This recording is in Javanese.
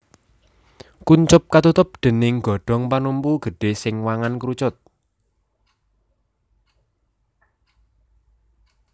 Kuncup katutup déning godhong panumpu gedhé sing wangun krucut